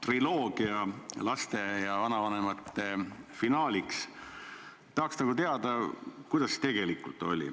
Selle huvitava laste ja vanavanemate triloogia finaaliks tahaks nagu teada, kuidas tegelikult oli.